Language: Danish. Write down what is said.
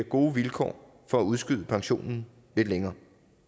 gode vilkår for at udskyde pensionen lidt længere